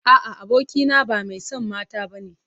A'a, abokina ba mai son mata bane.